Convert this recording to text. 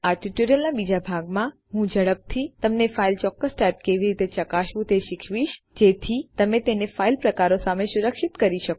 આ ટ્યુટોરીયલના બીજા ભાગમાં હું ઝડપથી તમને ફાઇલની ચોક્કસ ટાઇપ કેવી રીતે ચકાસવું તે શીખવીશ જેથી તમે તેને ફાઇલ પ્રકારો સામે સુરક્ષિત કરી શકો